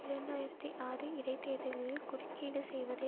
இரண்டு ஆயிரத்தி ஆறு இடை தேர்தல்களில் குறுக்கீடு செய்வதை